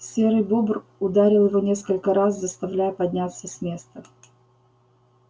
серый бобр ударил его несколько раз заставляя подняться с места